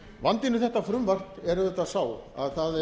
vandinn við þetta frumvarp er auðvitað sá að